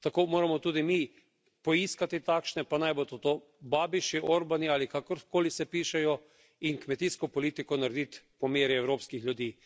Tako moramo tudi mi poiskati takšne, pa naj bodo to Babiši, Orbani ali kakorkoli se pišejo in kmetijsko politiko narediti po meri evropskih ljudi.